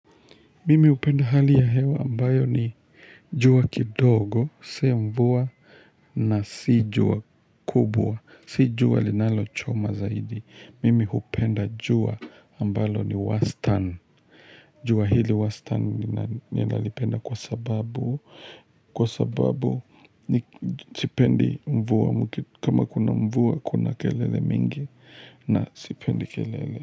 Mimi hupenda hali ya hewa ambayo ni jua kidogo, si mvua na si jua kubwa, si jua linalochoma zaidi. Mimi hupenda jua ambalo ni wastani, jua hili wastani ninalipenda kwa sababu, kwa sababu sipendi mvua, kama kuna mvua kuna kelele mingi na sipendi kelele.